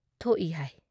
ꯊꯣꯛꯏ ꯍꯥꯏ ꯫